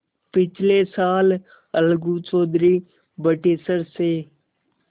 पिछले साल अलगू चौधरी बटेसर से